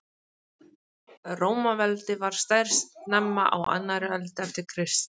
Rómaveldi var stærst snemma á annarri öld eftir Krist.